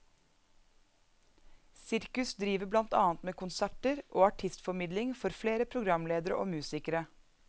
Sirkus driver blant annet med konserter og artistformidling for flere programledere og musikere.